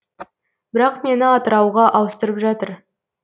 бірақ мені атырауға ауыстырып жатыр